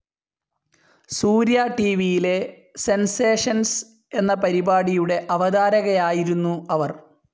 സൂര്യ ടിവിയിലെ സെൻസേഷൻസ്‌ എന്ന പരിപാടിയുടെ അവതാരകയായിരുന്നു അവർ.